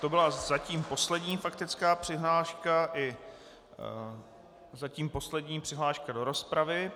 To byla zatím poslední faktická přihláška i zatím poslední přihláška do rozpravy.